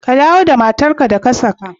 Ka dawo da matar ka da ka saka!